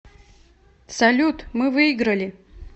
салют мы выиграли